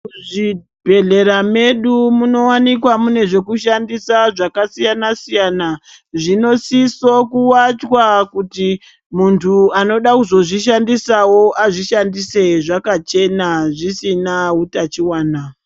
Muzvibhedhlera medu munowanikwa mune zvekushandisa zvakasiyana siyana zvinosiso kuwachwa kuti munthu anoda kuzozvishandisawo azvishandise zvakachena zvisina utachiona.